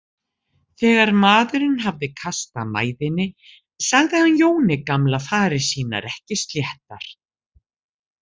Þegar maðurinn hafði kastað mæðinni sagði hann Jóni gamla farir sínar ekki sléttar.